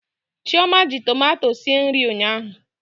Chioma ji tomato sie nri ụnyaahụ.